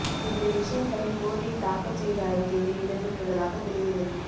இந்த விஷயங்களும் கோர்ட்டில் தாக்கல் செய்த அறிக்கையில் இடம் பெற்றுள்ளதாக தெரிகிறது